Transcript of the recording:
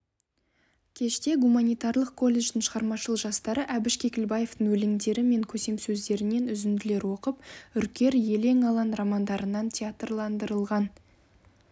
кеште гуманитарлық колледждің шығармашыл жастары әбіш кекілбаевтың өлеңдері мен көсемсөздерінен үзінділер оқып үркер елең-алаң романдарынан театрландырылған